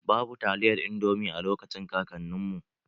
Babu taliyar indomi a lokacin kakanin mu.